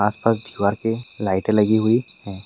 आस-पास दिवार पे लाइटे लगी हुई हैं।